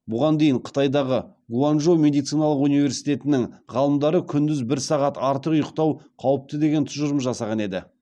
бұған дейін қытайдағы гуанчжоу медициналық университетінің ғалымдары күндіз бір сағат артық ұйықтау қауіпті деген тұжырым жасаған еді